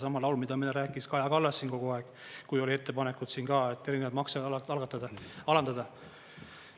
Sama laul, mida meile rääkis Kaja Kallas siin kogu aeg, kui oli ettepanekud ka erinevaid makse alandada.